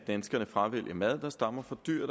fravælge mad der stammer fra dyr